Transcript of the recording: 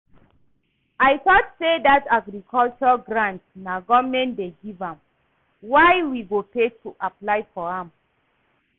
I thought say dat Agriculture grant na government dey give am, why we go pay to apply for am?